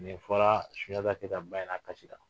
Nin fɔra Sunjata Keyita ba ɲɛna , a kasira.